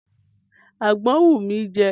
Àgbọn ń wù mí jẹ.